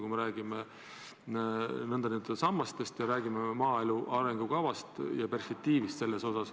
Me ju räägime nn sammastest ja maaelu arengukavaga seotud perspektiivist.